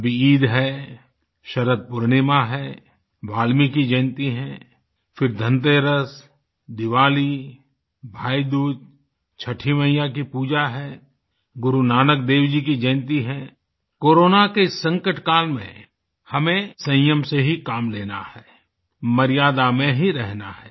अभी ईद है शरद पूर्णिमा है वाल्मीकि जयंती है फिर धनतेरस दिवाली भाईदूज छठी मैया की पूजा है गुरु नानक देव जी की जयंती है कोरोना के इस संकट काल में हमें संयम से ही काम लेना है मर्यादा में ही रहना है